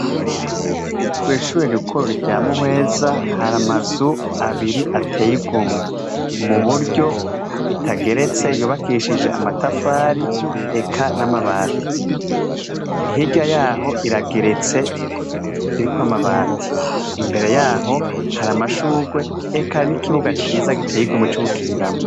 Kw'ishure rikuru rya Muhweza, har'amazu abiri atey'igomwe. Muburyo itageretse yubakishijwe amatafari eka n'amabati. Hirya yaho irageretse , irikw'amabati , imbere yaho har'amashurwe eka n'ikibuga ciza co gukiniramwo.